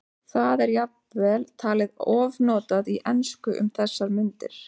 Það er jafnvel talið ofnotað í ensku um þessar mundir.